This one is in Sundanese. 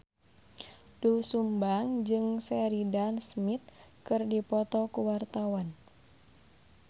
Doel Sumbang jeung Sheridan Smith keur dipoto ku wartawan